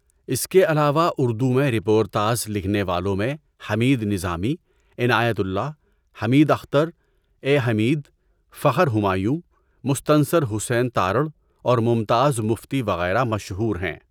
اس کے علاوہ اردو میں رپورتاژ لکھنے والوں میں حمید نظامی، عنایت اللہ، حمید اختر، اے حمید، فخر ہمایون، مستنصر حسین تارڑ اور ممتاز مفتی وغیرہ مشہور ہیں۔